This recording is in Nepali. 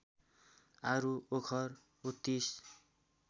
आरू ओखर उत्तिस